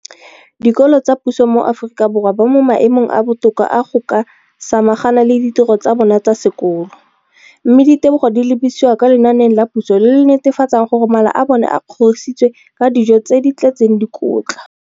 Dikolo tsa puso mo Aforika Borwa ba mo maemong a a botoka a go ka samagana le ditiro tsa bona tsa sekolo, mme ditebogo di lebisiwa kwa lenaaneng la puso le le netefatsang gore mala a bona a kgorisitswe ka dijo tse di tletseng dikotla.